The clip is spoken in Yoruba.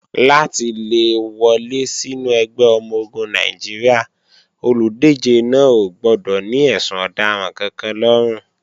Láti le wọlé sínú ẹgbẹ́ ọmọ-ogun Nàìjíríà, olùdíje náà ò gbọdọ̀ ní ẹ̀sùn ọ̀daràn kankan lọ́rùn.